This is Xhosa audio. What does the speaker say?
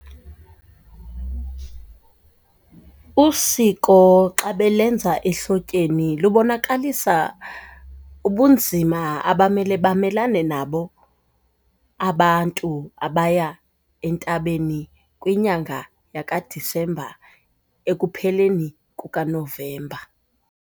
Usiko xa belenza ehlotyeni lubonakalisa ubunzima abamele bamelane nabo abantu abaya entabeni kwinyanga yakaDisemba ekupheleni kukaNovemba.